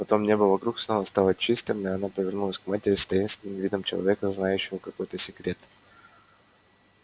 потом небо вокруг снова стало чистым и она повернулась к матери с таинственным видом человека знающего какой-то секрет